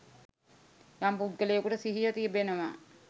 යම් පුද්ගලයෙකුට සිහිය තිබෙනවා